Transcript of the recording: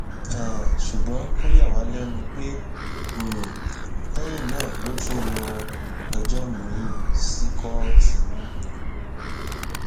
um ṣùgbọn ó yà wá lẹnu pé um lẹyìn náà ló tún lọọ péjọ miín sí kóòtù